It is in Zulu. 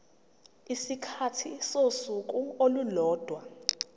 isikhathi sosuku olulodwa